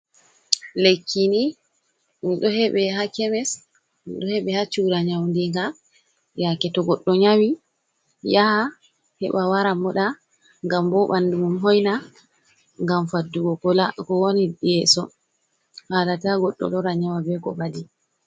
Lekki ni ɗo heɓe ha kemis, ɗo heɓe ha chuura nyaundiga yake to goɗɗo nyawi yaha heɓa wara moɗa ngam bo ɓandu mum hoina, ngam faddugo ko woni yeeso haala ta goɗɗo lora nyawa be ko ɓadi.